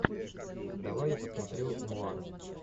давай я посмотрю нуар